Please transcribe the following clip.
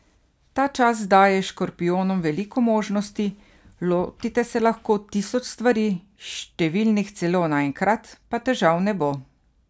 Ta čas daje škorpijonom veliko možnosti, lotite se lahko tisoč stvari, številnih celo naenkrat, pa težav ne bo.